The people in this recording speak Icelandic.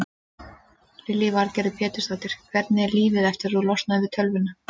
Lillý Valgerður Pétursdóttir: Hvernig er lífið eftir að þú losnaðir við tölvuna?